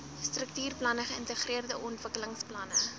struktuurplanne geïntegreerde ontwikkelingsplanne